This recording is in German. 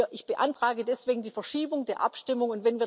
Ich beantrage deswegen die Verschiebung der Abstimmung.